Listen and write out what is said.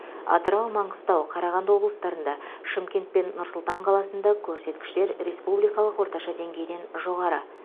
атырау маңғыстау қарағанды облыстарында шымкент пен нұр сұлтан қаласында көрсеткіштер республикалық орташа деңгейден жоғары